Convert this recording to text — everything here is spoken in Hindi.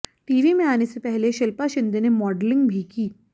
टीवी में आने से पहले शिल्पा शिंदे ने मॉडलिंग भी की